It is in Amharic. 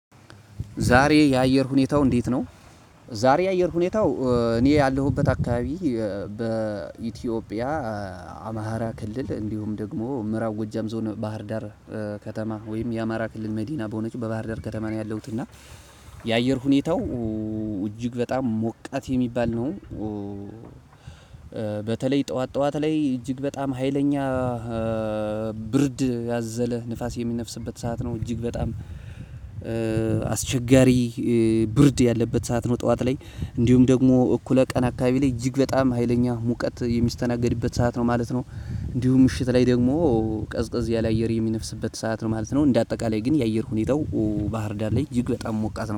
ዛሬ የአየር ሁኔታው እንዴት ነው? ዛሬ የአየር ሁኔታው እኔ ያለሁበት አካባቢ በኢትዮጵያ አማራ ክልል እንዲሁም ደግሞ ምዕራብ ጎጃም ዞን ባህርዳር ከተማ ወይም የአማራ ክልል መዲና በሆነችው በባህር ዳር ከተማ ነው ያለሁት እና የአየር ሁኔታው እጅግ በጣም ሞቃት የሚባል ነው። በተለይ ጠዋት ጠዋት ላይ እጅግ በጣም ሀይለኛ ብርድ ያዘለ ንፋስ የሚነፍስበት ሰዓት ነው እጅግ በጣም አስቸጋሪ ብርድ ያለበት ሰዓት ነው። ጠዋት ላይ እንዲሁም ደግሞ እኩለ ቀን አካባቢ ላይ እጅግ በጣም ሀይለኛ ሙቀት የሚስተናገድበት ሰዓት ነው ማለት ነው። እንዲሁም ምሽት ላይ ደግሞ ቀዝቀዝ ያለ አየር የሚነፍስበት ሰዓት ነው ማለት ነው። እንደ አጠቃላይ ግን የአየር ሁኔታው ባህርዳር ላይ እጅግ በጣም ሞቃት ነው